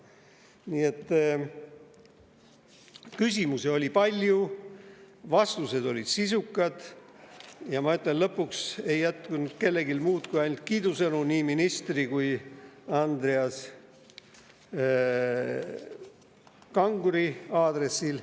Nii et küsimusi oli palju, vastused olid sisukad ja ma ütlen, et lõpuks ei jätkunud kellelgi muud kui ainult kiidusõnu nii ministri kui ka Andreas Kanguri aadressil.